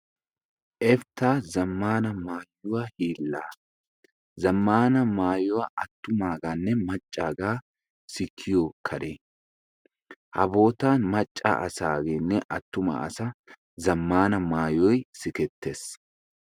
Efitaha zamaana maayuwaa hiilaa, zamaana maayuwa attumaaganne macaagaanne sikkiyo kare ha bootan maca asaageenne atumaasag zamaana maayoy sikettees.